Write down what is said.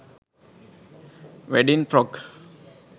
wedding frock